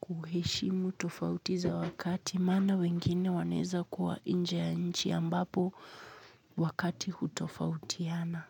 kuheshimu tofauti za wakati, maana wengine wanaweza kuwa nje ya nchi ambapo wakati unatofautiana.